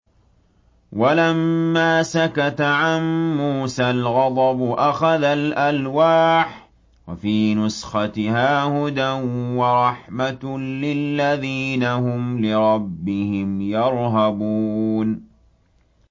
وَلَمَّا سَكَتَ عَن مُّوسَى الْغَضَبُ أَخَذَ الْأَلْوَاحَ ۖ وَفِي نُسْخَتِهَا هُدًى وَرَحْمَةٌ لِّلَّذِينَ هُمْ لِرَبِّهِمْ يَرْهَبُونَ